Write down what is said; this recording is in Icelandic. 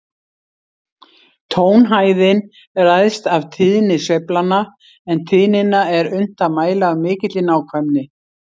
Tónhæðin ræðst af tíðni sveiflanna, en tíðnina er unnt að mæla af mikilli nákvæmni.